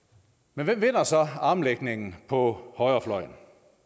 men hvem vinder så armlægningen på højrefløjen